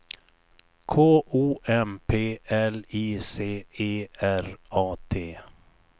K O M P L I C E R A T